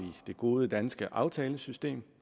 det gode danske aftalesystem